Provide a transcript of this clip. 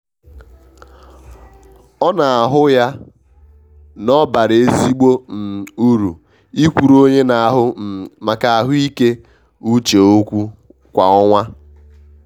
ọ na ahụ ya na obara ezigbo um uru ikwuru onye na ahụ um maka ahụike uche okwu kwa ọnwa.